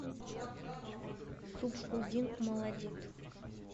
субхуддин молодид